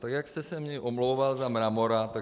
Tak jak jste se mně omlouval za Mramora, tak -